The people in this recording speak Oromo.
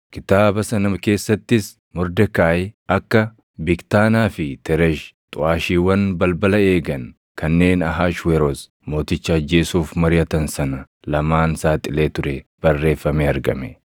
Kitaaba sana keessattis Mordekaayi akka Bigtaanaa fi Tereshi xuʼaashiiwwan balbala eegan kanneen Ahashweroos Mooticha ajjeesuuf mariʼatan sana lamaan saaxilee ture barreeffamee argame.